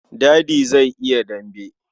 Dadi zai yi dambe.